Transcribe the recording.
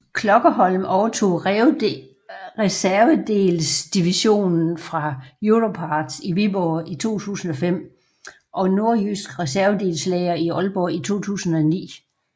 Klokkerholm overtog reservedelsdivisionen fra Europarts i Viborg i 2005 og Nordjysk Reservedelslager i Aalborg i 2009